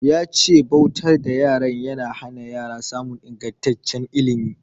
Ya ce bautar da yara na hana yara samun ingantaccen ilimi.